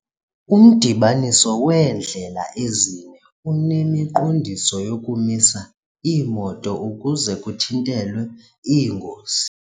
Umdibaniso weendlela ezine unemiqondiso yokumisa iimoto ukuze kuthintelwe iingozi.